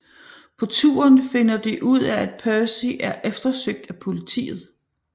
På turen finder de ud af at Percy er eftersøgt af politiet